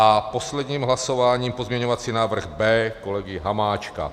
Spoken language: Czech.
A posledním hlasováním pozměňovací návrh B kolegy Hamáčka.